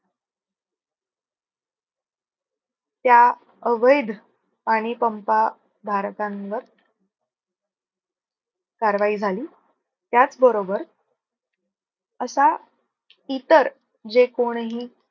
त्या अवैध आणि पंप धारकांवर कारवाई झाली. त्याच बरोबर असा इतर जे कोणही